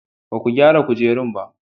Ba ku gyara kujerun ba?